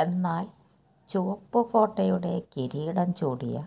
എന്നാല് ചുവപ്പുകോട്ടയുടെ കിരീടം ചൂടിയ